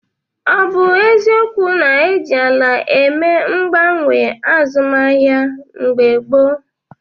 Ọ bụ eziokwu na e ji ala eme mgbanwe azụmahịa mgbe gboo?